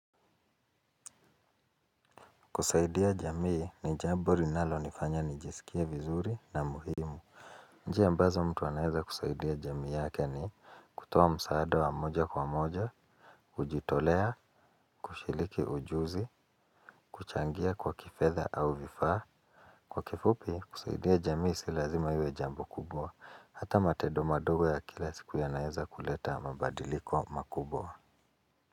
Kusaidia jamii ni jambo linalo nifanya nijisikie vizuri na muhimu. Njia ambazo mtu anaeza kusaidia jamii yake ni kutoa msaada wa moja kwa moja kujitolea kushiriki ujuzi. Kuchangia kwa kifedha au vifaa kwa kifupi kusaidia jamii si lazima iwe jambo kubwa hata matendo madogo ya kila siku yanaeza kuleta mabadiliko makubwa.